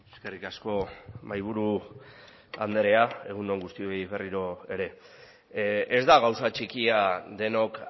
eskerrik asko mahaiburu andrea egun on guztioi berriro ere ez da gauza txikia denok